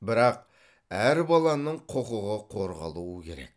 бірақ әр баланың құқығы қорғалуы керек